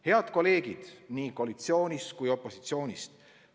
Head kolleegid nii koalitsioonist kui ka opositsioonist!